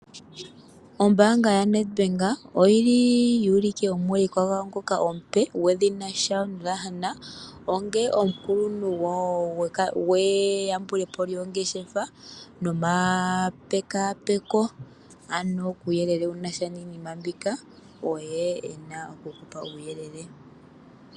Ombanga yaNedBank oyi li yu ulike omuulikwa gwawo ngoka omupe gwedhina Shaun Lahner onga omukuluntu gwawo gweyambulepo lyongeshefa nomapekaapeko kuuyelele wu nasha niinima mbika oye e na okumupa uuyelele.